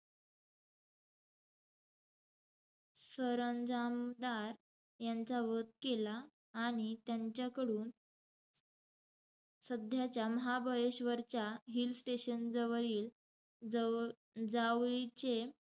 सरंजामदार यांचा वध केला. आणि त्यांच्याकडून सध्याच्या महाबळेश्वरच्या hill station जवळील जावळीचे,